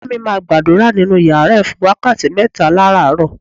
Ìyá mi máa gbàdúrà nínú yàrá ẹ̀ fún wákàtí mẹ́ta láràárọ.